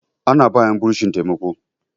ana ba 'yan bursin taimako